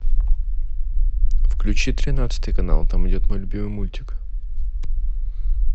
включи тринадцатый канал там идет мой любимый мультик